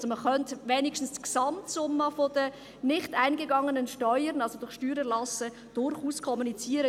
Also man könnte wenigstens die Gesamtsumme der durch Steuererlasse nicht eingegangenen Steuern durchaus kommunizieren.